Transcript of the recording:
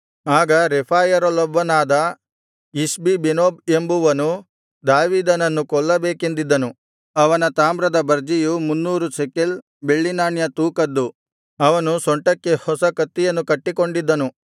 ಆಗ ರೆಫಾಯರಲ್ಲೊಬ್ಬನಾದ ಇಷ್ಬಿಬೆನೋಬ್ ಎಂಬುವನು ದಾವೀದನನ್ನು ಕೊಲ್ಲುಬೇಕೆಂದಿದ್ದನು ಅವನ ತಾಮ್ರದ ಬರ್ಜಿಯು ಮುನ್ನೂರು ಶೆಕಲ್ ಬೆಳ್ಳಿನಾಣ್ಯ ತೂಕದ್ದು ಅವನು ಸೊಂಟಕ್ಕೆ ಹೊಸ ಕತ್ತಿಯನ್ನು ಕಟ್ಟಿಕೊಂಡಿದ್ದನು